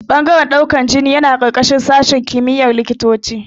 Ɓangaren ɗaukan jini yana ƙarƙashin sashin kimiyar likitanci